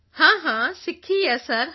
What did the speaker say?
ਹਾਂ ਹਾਂ ਸਿੱਖੀ ਹੈ ਸਰ ਹਾਂ